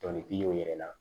Dɔnnik'i y'o yɛrɛ la